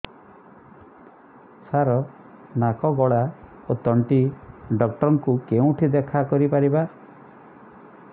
ସାର ନାକ ଗଳା ଓ ତଣ୍ଟି ଡକ୍ଟର ଙ୍କୁ କେଉଁଠି ଦେଖା କରିପାରିବା